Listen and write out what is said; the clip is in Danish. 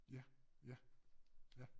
Ja ja ja